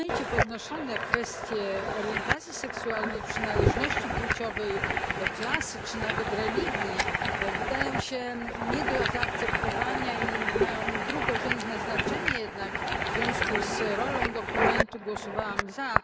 Poruszone w dokumencie tematy orientacji seksualnej, przynależności płciowej, klasy czy nawet religii wydają się nie do zaakceptowania i mają drugorzędne znaczenie, jednak w związku z rolą dokumentu głosowałam za.